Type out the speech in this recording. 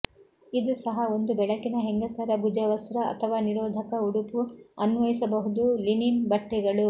ಇದು ಸಹ ಒಂದು ಬೆಳಕಿನ ಹೆಂಗಸರ ಭುಜವಸ್ತ್ರ ಅಥವಾ ನಿರೋಧಕ ಉಡುಪು ಅನ್ವಯಿಸಬಹುದು ಲಿನಿನ್ ಬಟ್ಟೆಗಳು